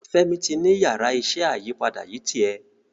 Femi tí ní Yàrá iṣẹ́ ayípadà yí tiè.